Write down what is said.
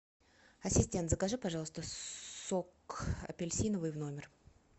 ассистент закажи пожалуйста сок апельсиновый в номер